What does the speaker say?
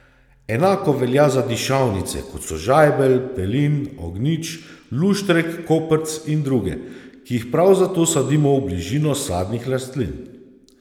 Enako velja za dišavnice, kot so žajbelj, pelin, ognjič, luštrek, koprc in druge, ki jih prav zato sadimo v bližino sadnih rastlin.